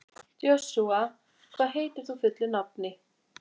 Joshua, hvað heitir þú fullu nafni?